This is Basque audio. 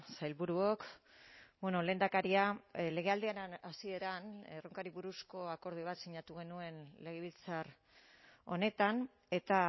sailburuok lehendakaria legealdiaren hasieran erronkari buruzko akordio bat sinatu genuen legebiltzar honetan eta